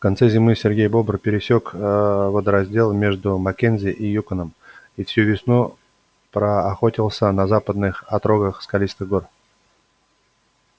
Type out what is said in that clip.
в конце зимы сергей бобр пересёк аа водораздел между маккензи и юконом и всю весну проохотился на западных отрогах скалистых гор